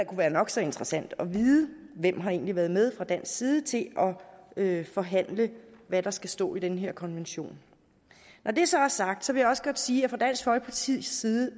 være nok så interessant at vide hvem har egentlig været med fra dansk side til at forhandle hvad der skal stå i den her konvention når det så er sagt vil også godt sige at fra dansk folkepartis side